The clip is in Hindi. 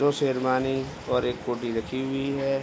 दो शेरवानी और एक हुडी रखी हुई है।